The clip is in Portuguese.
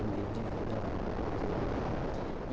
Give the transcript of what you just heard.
O meio de vida lá na no interior.